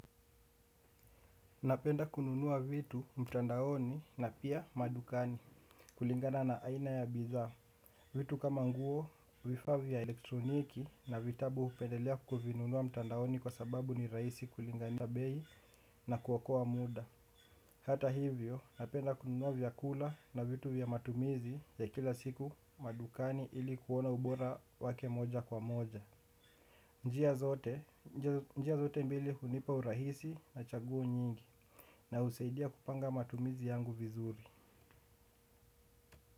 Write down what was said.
Napenda kununua vitu mtandaoni na pia madukani kulingana na aina ya bidhaa. Vitu kama nguo vifaa vya elektroniki na vitabu hupendelea kuvinunua mtandaoni kwa sababu ni rahisi kulingana behi na kuokoa muda. Hata hivyo, napenda kununua vyakula na vitu vya matumizi ya kila siku madukani ili kuona ubora wake moja kwa moja. Njia zote mbili hunipa urahisi na chaguo nyingi na husaidia kupanga matumizi yangu vizuri.